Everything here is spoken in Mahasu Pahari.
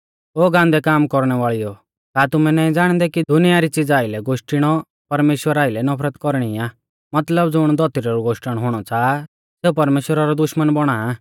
ओ गान्दै काम कौरणै वाल़ीयो का तुमै नाईं ज़ाणदै कि दुनिया री च़िज़ा आइलै गोष्टीणौ परमेश्‍वरा आइलै नफरत कौरणी आ मतलब ज़ुण धौतरी रौ गोष्टण हुणौ च़ाहा सेऊ परमेश्‍वरा रौ दुश्मना बौणा आ